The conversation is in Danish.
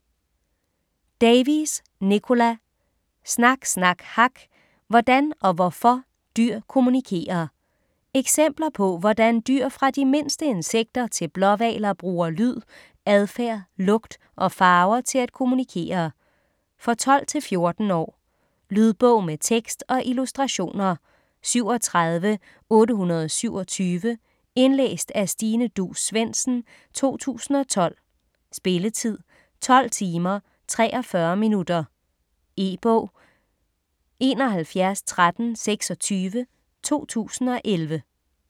Davies, Nicola: Snak, snak, hak!: hvordan og hvorfor dyr kommunikerer Eksempler på, hvordan dyr fra de mindste insekter til blåhvaler bruger lyd, adfærd, lugt og farver til at kommunikere. For 12-14 år. Lydbog med tekst og illustrationer 37827 Indlæst af Stine Duus Svendsen, 2012. Spilletid: 12 timer, 44 minutter. E-bog 711326 2011.